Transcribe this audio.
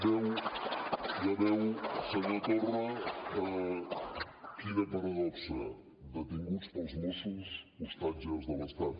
ja veu senyor torra quina paradoxa detinguts pels mossos ostatges de l’estat